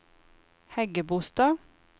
Hægebostad